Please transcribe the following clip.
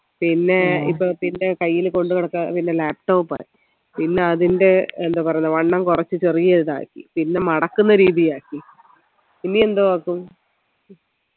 പിന്നെ ഇപ്പൊ കയ്യിൽ കൊണ്ട് നടക്കാൻ പിന്നെ laptop ആയി പിന്നെ അതിൻറെ എന്ത് പറയാ വണ്ണം കൊറച്ചു ചെറിയ ഇതാക്കി പിന്നെ മടക്കുന്ന രീതിലാക്കി ഇനിയെന്തോ ആക്കും